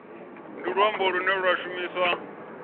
ndi luambo lune lwa shumiswa